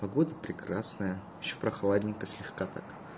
погода прекрасная ещё прохладненько слегка так